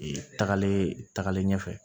Ee tagalen tagalen ɲɛfɛ